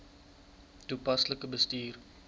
toepaslik bestuur